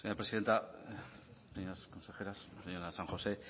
presidenta señoras consejeras señora san josé